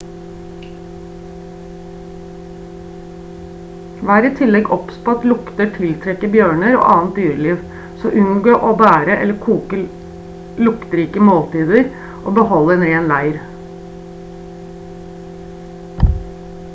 vær i tillegg obs på at lukter tiltrekker bjørner og annet dyreliv så unngå å bære eller koke luktrike måltider og behold en ren leir